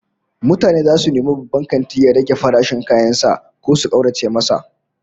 Mutane zasu nemi babban kantin ya rage farashin kayan sa ko su kaurace masa